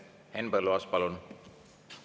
Henn Põlluaas, palun!